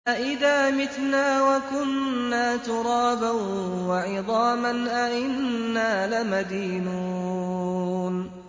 أَإِذَا مِتْنَا وَكُنَّا تُرَابًا وَعِظَامًا أَإِنَّا لَمَدِينُونَ